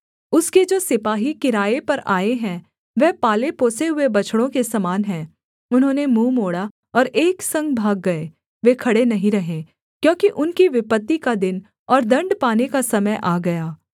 उसके जो सिपाही किराये पर आए हैं वह पालेपोसे हुए बछड़ों के समान हैं उन्होंने मुँह मोड़ा और एक संग भाग गए वे खड़े नहीं रहे क्योंकि उनकी विपत्ति का दिन और दण्ड पाने का समय आ गया